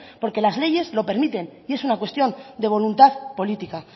porque las leyes lo permiten y es una cuestión de voluntad política